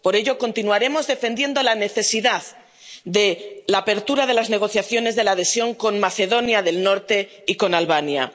Por ello continuaremos defendiendo la necesidad de la apertura de las negociaciones de adhesión con Macedonia del Norte y con Albania.